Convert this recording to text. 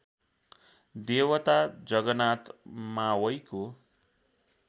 देवता जगनाथ मावईको